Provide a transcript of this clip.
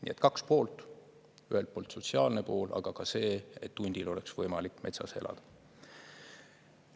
Nii et kaks poolt: ühelt poolt sotsiaalne pool, aga see, et hundil oleks võimalik metsas elada.